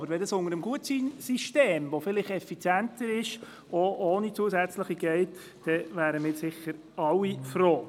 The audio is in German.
Wäre das unter dem Gutscheinsystem, das vielleicht effizienter ist, auch ohne zusätzliche Mittel möglich, wären wir sicher alle froh.